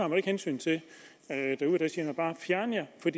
man ikke hensyn til derude der siger man bare fjern jer for